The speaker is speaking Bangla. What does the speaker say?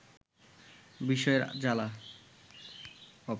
বিষের জ্বালা